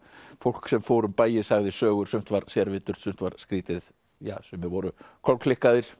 fólk sem fór á bæi og sagði sögur sumt var sumt var skrýtið ja sumir voru